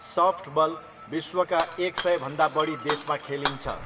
Softball विश्वका एक सयभन्दा बढी देशमा खेलिन्छ।